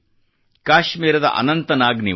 ಕಾಶ್ಮೀರದ ಅನಂತ್ ನಾಗ್ ನ ನಿವಾಸಿ